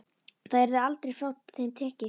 Það yrði aldrei frá þeim tekið.